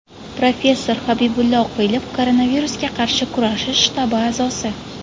Professor Habibulla Oqilov, Koronavirusga qarshi kurashish shtabi a’zosi.